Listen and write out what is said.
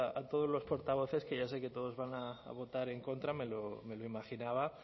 a todos los portavoces que ya sé que todos van a votar en contra me lo imaginaba